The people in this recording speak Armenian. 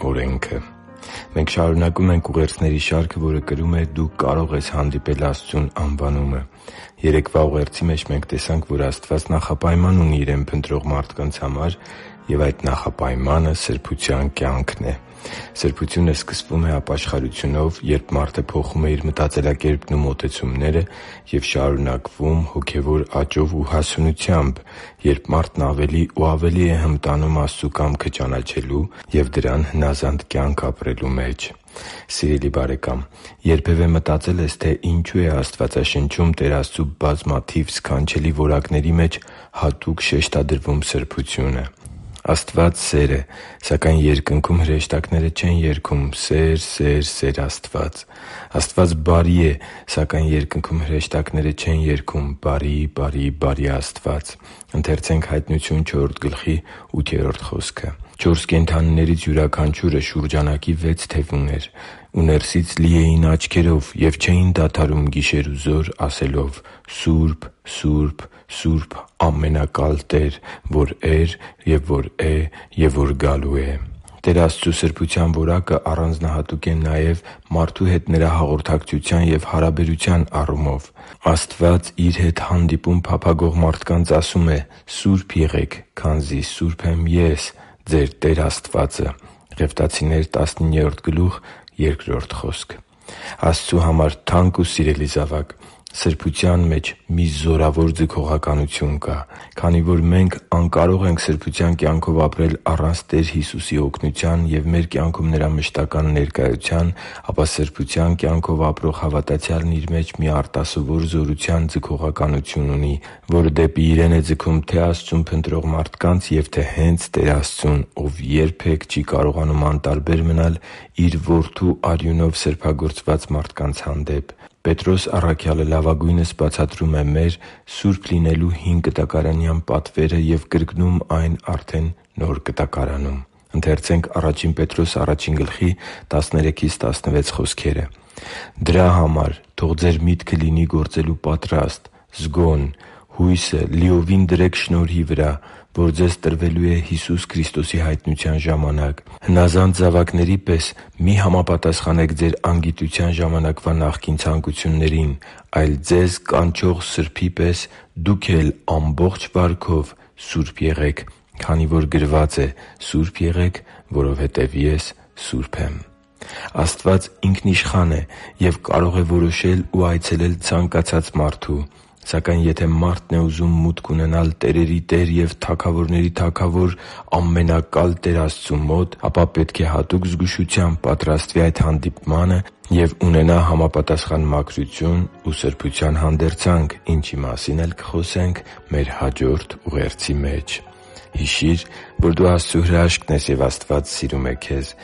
օրենքը Մենք շարունակում ենք ուղերձների շարքը, որը կրում է «Դու կարո՛ղ ես հանդիպել Աստծուն» անվանումը։ Երեկվա ուղերձի մեջ մենք տեսանք, որ Աստված նախապայման ունի Իրեն փնտրող մարդկանց համար, և այդ նախապայմանը սրբության կյանքն է։ Սրբությունը սկսվում է ապաշխարությունով, երբ մարդը փոխում է իր մտածելակերպն ու մոտեցումները, և շարունակվում հոգևոր աճով ու հասունությամբ, երբ մարդն ավելի ու ավելի է հմտանում Աստծու կամքը ճանաչելու և դրան հնազանդ կյանք ապրելու մեջ։ Սիրելի՛ բարեկամ, երբևէ մտածե՞լ ես, թե ինչո՛ւ է Աստվածաշնչում Տեր Աստծու բազմաթիվ սքանչելի որակների մեջ հատուկ շեշտադրվում սրբությունը։ Աստված սեր է, սակայն Երկնքում հրեշտակները չեն երգում «Սե՜ր, սե՜ր, սե՜ր Աստված»։ Աստված բարի է, սակայն Երկնքում հրեշտակները չեն երգում «Բարի՜, բարի՜, բարի՜ Աստված»։ «Չորս կենդանիներից յուրաքանչյուրը շուրջանակի վեց թև ուներ, ու ներսից լի էին աչքերով. և չէին դադարում գիշերուզօր ասելով. «Սո՛ւրբ, Սո՛ւրբ, Սո՛ւրբ, Ամենակա՛լ Տեր Աստված, որ էր և որ է և որ գալու է» (Հայտնություն 4.8): Տեր Աստծու սրբության որակը առանձնահատուկ է հե՛նց մարդու հետ Նրա հաղորդակցության և հարաբերության առումով։ Աստված Իր հետ հանդիպում փափագող մարդկանց ասում է․ «Սո՛ւրբ եղեք, քանզի սուրբ եմ Ես՝ ձեր Տեր Աստվածը» (Ղևտացոց 19.2): Աստծու համար թանկ ու սիրելի՛ զավակ, սրբության մեջ մի զորավոր ձգողականություն կա։ Քանի որ մենք անկարող ենք սրբության կյանքով ապրել առանց Տեր Հիսուսի օգնության և մեր կյանքում Նրա մշտական ներկայության, ապա սրբության կյանքով ապրող հավատացյալն իր մեջ մի արտասովոր զորության ձգողականություն ունի, որը դեպի իրեն է ձգում թե՛ Աստծուն փնտրող մարդկանց և թե՛ հենց Տեր Աստծուն, Ով երբե՛ք չի կարողանում անտարբեր մնալ Իր Որդու արյունով սրբագործված մարդկանց հանդեպ։ Պետրոս առաքյալը լավագույնս բացատրում է մեր՝ սուրբ լինելու հինկտակարանյան պատվերը և կրկնում այն արդեն Նոր Կտակարանում․ «Դրա համար թող ձեր միտքը լինի գործելու պատրաստ, զգոն։ Հույսը լիովին դրե՛ք շնորհի վրա, որ ձեզ տրվելու է Հիսուս Քրիստոսի հայտնության ժամանակ, հնազանդ զավակների պես մի՛ համապատասխանեք ձեր անգիտության ժամանակվա նախկին ցանկություններին, այլ ձեզ կանչող Սրբի պես դուք էլ ամբողջ վարքով սո՛ւրբ եղեք, քանի որ գրված է. «Սո՛ւրբ եղեք, որովհետև Ես սուրբ եմ» (Ա Պետրոս 1.13-16): Աստված ինքնիշխան է և կարող է որոշել ու այցելել ցանկացած մարդու։ Սակայն եթե մարդն է ուզում մուտք ունենալ տերերի Տեր և թագավորների Թագավոր ամենակալ Տեր Աստծու մոտ, ապա պետք է հատուկ զգուշությամբ պատրաստվի այդ հանդիպմանը և ունենա համապատասխան մաքրություն ու սրբության հանդերձանք, ինչի մասին էլ կխոսենք մեր հաջորդ ուղերձի մեջ։ Հիշի՛ր, որ դու Աստծո հրաշքն ես, և Աստված սիրում է քեզ։